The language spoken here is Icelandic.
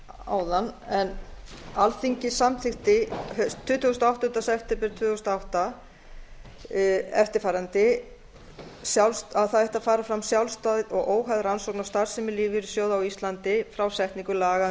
áðan en alþingi samþykkti tuttugasta og áttunda september tvö þúsund og átta eftirfarandi að það ætti að fara fram sjálfstæð og óháð rannsókn á starfsemi lífeyrissjóða á íslandi frá setningu laga um